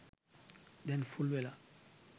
දැන් ෆුල් වෙලා